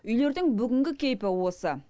үйлердің бүгінгі кейпі осы